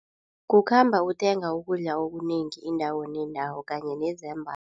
Kukhamba uthenga ukudla okunengi indawo nendawo kanye nezambatho.